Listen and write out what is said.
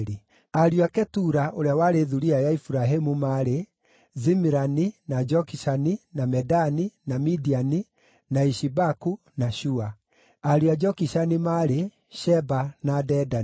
Ariũ a Ketura, ũrĩa warĩ thuriya ya Iburahĩmu, maarĩ: Zimirani, na Jokishani, na Medani, na Midiani, na Ishibaku, na Shua. Ariũ a Jokishani maarĩ: Sheba na Dedani.